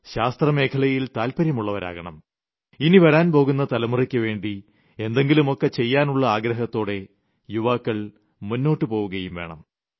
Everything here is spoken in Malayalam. ശാസ്ത്ര മേഖലയിൽ താത്പര്യമുളളവരാകണം ഇനി വരാൻ പോകുന്ന തലമുറയ്ക്ക് വേണ്ടി എന്തെങ്കിലുമൊക്കെ ചെയ്യാനുളള ആഗ്രഹത്തോടെ യുവാക്കൾ മുന്നോട്ട് പോവുകയും വേണം